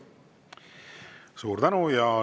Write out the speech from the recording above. Suur tänu!